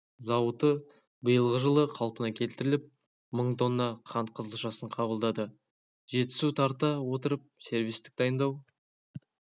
зауыты биылғы жылы қалпына келтіріліп мың тонна қант қызылшасын қабылдады жетісу тарта отырып сервистік дайындау